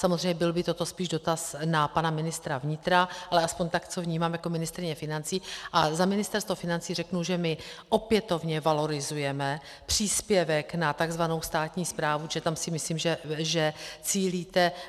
Samozřejmě byl by toto spíš dotaz na pana ministra vnitra, ale aspoň tak, co vnímám jako ministryně financí, a za ministerstvo financí řeknu, že my opětovně valorizujeme příspěvek na tzv. státní správu, protože tam si myslím, že cílíte.